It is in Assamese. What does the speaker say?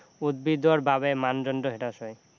উদ্ভিদৰ বাবে মানদণ্ড হ্ৰাস হয়